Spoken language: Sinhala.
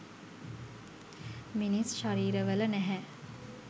මිනිස් ශරීරවල නැහැ.